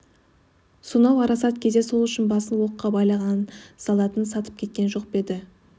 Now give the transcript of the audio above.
сонау арасат кезде сол үшін басын оққа байлаған солдатын сатып кеткен жоқ па еді